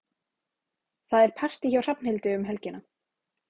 Það er partí hjá Hrafnhildi um helgina.